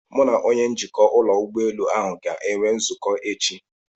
Mụ na onye njikwa ụlọ ụgbọelu ahụ ga-enwe nzukọ echi.